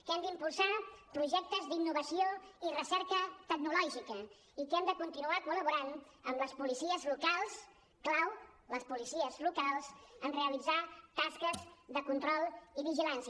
que hem d’impulsar projectes d’innovació i recerca tecnològica i que hem de continuar col·laborant amb les policies locals clau les policies locals en realitzar tasques de control i vigilància